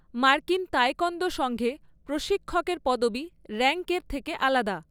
মার্কিন তায়েক্বন্দ সংঘে প্রশিক্ষকের পদবি র‍্যাংকের থেকে আলাদা।